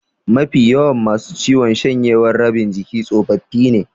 Mafi yawan masu ciwon shanyewar rabin jiki tsofaffi ne.